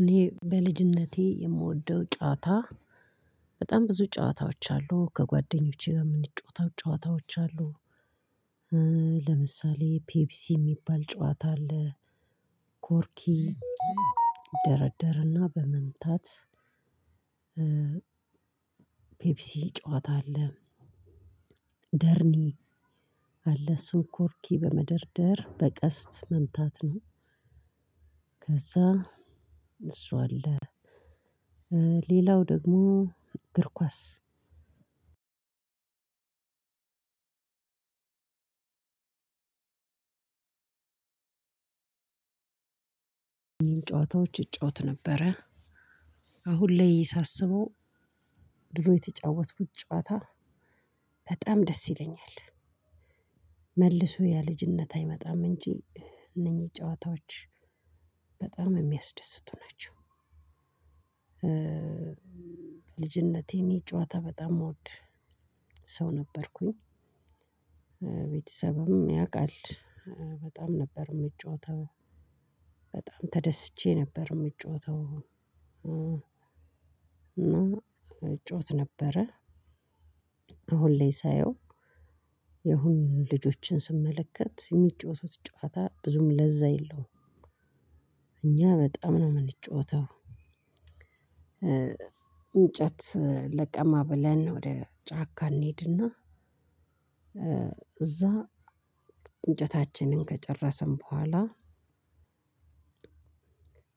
እኔ በልጅነቴ የምወደው ጨዋታ በጣም ብዙ ጨዋታዎች አሉ ከጓደኞቼ ጋር የምንጫወታው ጨዋታዎች አሉ። ለምሳሌ ፔፕሲ የሚባል ጨዋታ አለ። ቆርኪ። ይደረደርና በመምታት። ፔፕሲ ጨዋታ አለ። ደርኒ አለ እሱ ቆርኪ በመደርደር በቀስት መምታት ነው። ከዛ እሱ አለ ሌላው ደግሞ እግር ኳስ። ጨዋታዎች እጫወት ነበረ። አሁን ላይ ሳስበው ድሮ የተጫወትኩት ጨዋታ በጣም ደስ ይለኛል። መልሶ ያ ልጅነት አይመጣም እንጂ እነኚህ ጨዋታዎች በጣም የሚያስደስቱ ናቸው። ልጅነቴ እኔ ጨዋታ በጣም ምወድ ሰው ነበርኩኝ። ቤተሰብም ያውቃል። በጣም ነበር የምጫወተው በጣም ተደስቼ ነበር የምጫወተው። እና እጫወት ነበረ። አሁን ላይ ሳየው ያሁን ልጆችን ስመለከት የሚጫወቱት ጨዋታ ብዙም ለዛ የለውም እኛ በጣም ነው የምንጫወተው። እንጨት ለቀማ ብለን ወደ ጫካ እንሄድና። እዛ እንጨታችንን ከጨረስን በኋላ?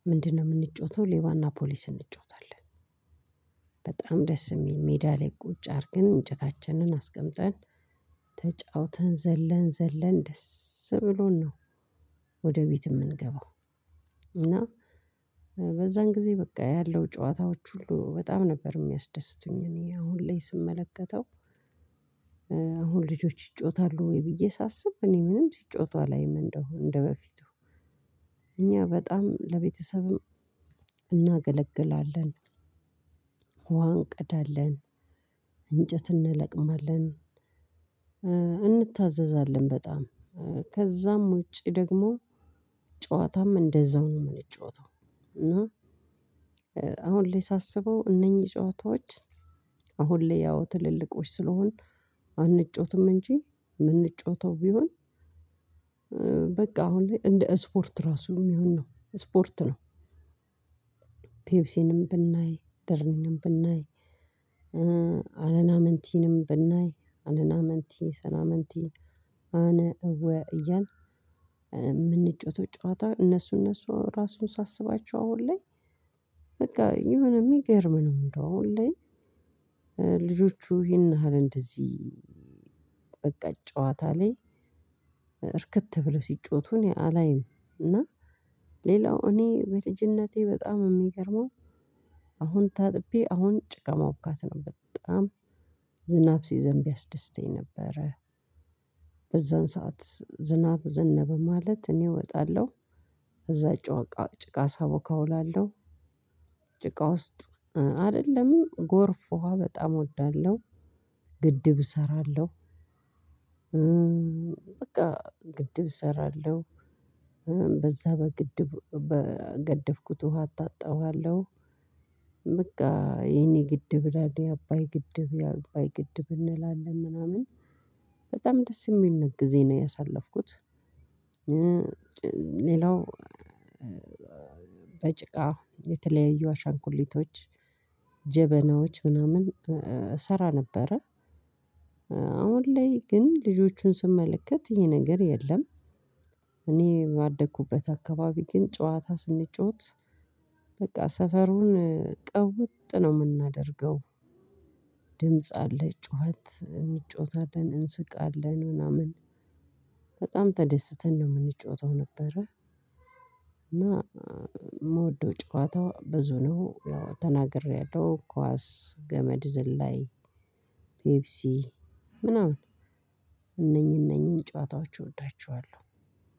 ምንድነው የምንጫወተው ሌባና ፖሊስ እንጫወታለን። በጣም ደስ የሚል ሜዳ ላይ ቁጭ አድርገን እንጨታችንን አስቀምጠን ተጫውተን ዘለን ዘለን ደስ ብሎን ነው። ወደ ቤት የምንገባው። እና በዛን ጊዜ በቃ ያለው ጨዋታዎች ሁሉ በጣም ነበር የሚያስደስቱኝ እኔ አሁን ላይ ስመለከተው። አሁን ልጆች ይጫወታሉ ወይ ብዬ ሳስብ እኔ ምንም ሲጫወቷ አላይም። እንደው እንደበፊቱ እኛ በጣም ለቤተሰብም እናገለግላለን። ውሃ እንቀዳለን። እንጨት እንለቅማለን። እንታዘዛለን በጣም ከዛም ውጪ ደግሞ ጨዋታም እንደዛው ነው የምንጫወተው። እና አሁን ላይ ሳስበው እነኚህ ጫወታዎች አሁን ላይ ያው ትልልቆች ስለሆን አንጫወትም እንጂ የምንጫወተው ቢሆን አሁን ላይ እንደ ስፖርት ራሱ የሚሆን ነው ስፖርት ነው። ፒፕሲንም ብናይ ደርኒንም ብናይ አለናመንቲንም ብናይ አለናመንቲ ሰላምንቲ። አነ እወ እያልን የምንጨታወተው ጨዋታ እነሱ እነሱ ራሱን ሳስባቸው አሁን ላይ። በቃ የሆነ የሚገርም ነው እንደው አሁን ላይ። ልጆቹ ይህን ያህል እንደዚህ በቃ ጨዋታ ላይ እርክት ብለው ሲጫወቱ እኔ አላይም። እና ሌላው እኔ በልጅነቴ በጣም የሚገርመው አሁን ታጥቤ አሁን ጭቃ ማቡካት ነው። በጣም ዝናብ ሲዘንብ ያስደስተኝ ነበረ። በዛን ሰዓት ዝናብ ዘነበ ማለት እኔ እወጣለሁ። እዛ እጫ በቃ ጭቃ ሳቦካ ውላለሁ። ጭቃ ውስጥ አልልም ጎርፍ ውሃ በጣም እወዳለሁ። ግድብ እሰራለሁ። በቃ ግድብ እሰራለሁ። በዛ በግድብ በገደብኩት ውሃ አታጠባለሁ። በቃ የኔ ግድብ እላለሁ የአባይ ግድብ አባይ ግድብ እንላለን ምናምን በጣም ደስ የሚል ጊዜ ነው ያሳለፍኩት። ሌላው በጭቃ የተለያዩ አሻንኩሊቶች ጀበናዎች ምናምን እሰራ ነበረ። አሁን ላይ ግን ልጆቹን ስመለከት ይሄ ነገር የለም። ያደኩበት አካባቢ ግን ጨዋታ ስንጫወት በቃ ሰፈሩን ቅውጥ ነው የምናደርገው። ድምጽ አለ ጩኸት እንጫወታለን እንስቃለን ምናምን በጣም ተደስተን ነው የምንጫወተው ነበረ። እና የምወደው ጨዋታ ብዙ ነው ያው ተናግሬያለሁ ኳስ ገመድ ዝላይ ፔፕሲ ምናምን። እነኚህ እነኚህን ጨዋታዎች እወዳቸዋለሁ።